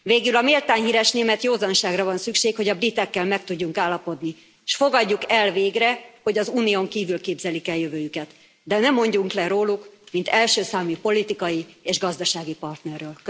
Végül, a méltán híres német józanságra van szükség, hogy a britekkel meg tudjunk állapodni, és fogadjuk el végre, hogy az Unión kívül képzelik el jövőjüket, de ne mondjunk le róluk, mint első számú politikai és gazdasági partnerről.